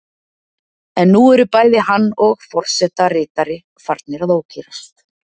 En nú eru bæði hann og forseta ritari farnir að ókyrrast.